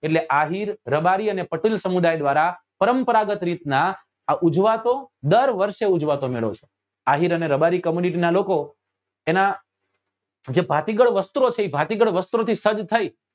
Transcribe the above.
એટલે આહીર રબારી અને પટેલ સમુદાય દ્વારા પરંપરાગત રીત નાં આ ઉજવાતો દર વર્ષે ઉજવાતો મેળો છે આહીર અને રબારી community નાં લોકો એના જે ભાતીગળ વસ્ત્રો છે એ ભાતીગળ વસ્ત્રો થી સજ્જ થઇ